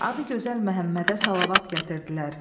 Adı gözəl Məhəmmədə salavat gətirdilər.